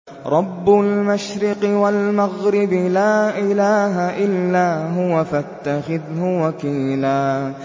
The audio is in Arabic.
رَّبُّ الْمَشْرِقِ وَالْمَغْرِبِ لَا إِلَٰهَ إِلَّا هُوَ فَاتَّخِذْهُ وَكِيلًا